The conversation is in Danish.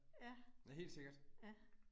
Ja. Ja